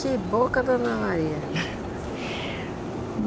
Que boca, dona Maria!